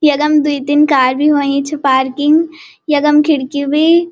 यखम द्वि-तीन कार बि ह्वई छ पार्किंग यखम खिड़की भी।